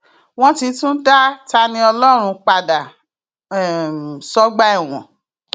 wọn ti tún dá taníọlọrun padà um sọgbà ẹwọn